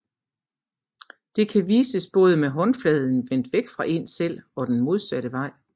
Det kan vises både med håndfladen vendt væk fra én selv og den modsatte vej